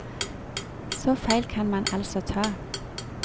Så feil kan man altså ta.